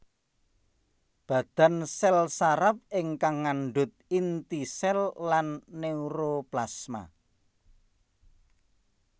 Badan sèl saraf ingkang ngandhut inti sèl lan neuroplasma